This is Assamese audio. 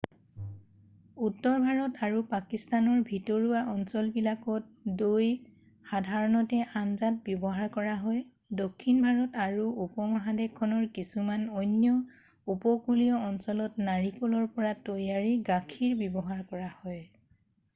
উত্তৰ ভাৰত আৰু পাকিস্তানৰ ভিতৰুৱা অঞ্চল বিলাকত দৈ সাধাৰণতে আঞ্জাত ব্যৱহাৰ কৰা হয় দক্ষিণ ভাৰত আৰু উপমহাদেশখনৰ কিছুমান অন্য উপকূলীয় অঞ্চলত নাৰিকলৰ পৰা তৈয়াৰী গাখীৰ ব্যৱহাৰ কৰা হয়